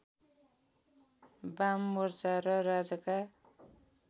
बाममोर्चा र राजाका